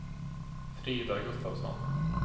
Frida Gustavsson